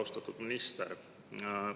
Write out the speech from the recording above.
Austatud minister!